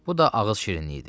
Bu da ağız şirinliyidir.